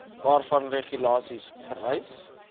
waarvan regulasies vereis